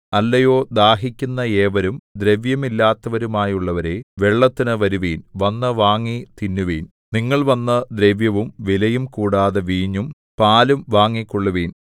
അല്ലയോ ദാഹിക്കുന്ന ഏവരും ദ്രവ്യമില്ലാത്തവരുമായുള്ളവരേ വെള്ളത്തിനു വരുവിൻ വന്നു വാങ്ങി തിന്നുവിൻ നിങ്ങൾ വന്നു ദ്രവ്യവും വിലയും കൂടാതെ വീഞ്ഞും പാലും വാങ്ങിക്കൊള്ളുവിൻ